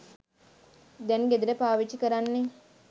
දැන් ගෙදර පාවිච්චි කරන්නේ.